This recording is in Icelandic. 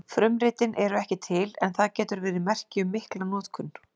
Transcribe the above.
Frumritin eru ekki til en það getur verið merki um mikla notkun.